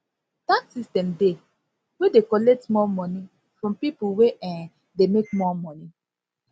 tax system dey wey dey collect more money from pipo wey um dey make more money